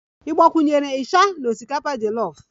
Ị gbakwunyere isha na osikapa jolof?